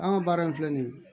An ka baara in filɛ nin ye